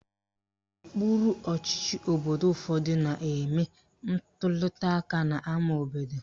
Okpuru ọchịchị obodo ụfọdụ na-eme ntuliaka n'ama obodo